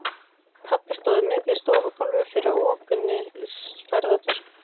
Pabbi stóð á miðju stofugólfi yfir opinni ferðatösku.